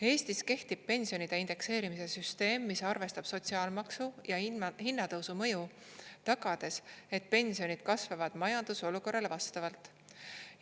Eestis kehtib pensionide indekseerimise süsteem, mis arvestab sotsiaalmaksu ja hinnatõusu mõju, tagades, et pensionid kasvavad majandusolukorrale vastavalt.